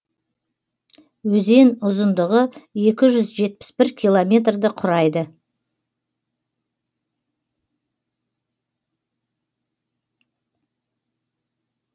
өзен ұзындығы екі жүз жетпіс бір километрді құрайды